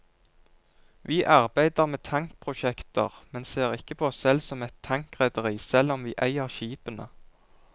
Vi arbeider med tankprosjekter, men ser ikke på oss selv som et tankrederi, selv om vi eier skipene.